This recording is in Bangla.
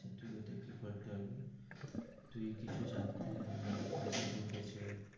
তুই কিছু জানতিস .